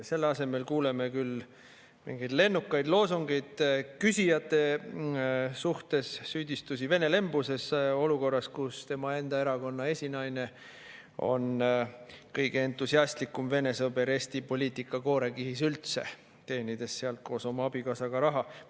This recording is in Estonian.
Selle asemel kuuleme mingeid lennukaid loosungeid küsijate pihta, süüdistusi Vene-lembuses, ja seda olukorras, kus tema enda erakonna esinaine on kõige entusiastlikum Vene sõber Eesti poliitika koorekihis üldse, teenides sealt koos oma abikaasaga raha.